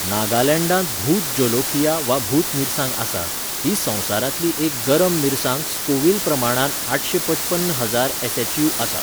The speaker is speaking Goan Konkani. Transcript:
नागालँडांत भूत जोलोकिया वा भूत मिरसांग आसा, ही संवसारांतली एक गरम मिरसांग स्कोविल प्रमाणांत आठशे पचपन्न हजार एसएचयू आसा.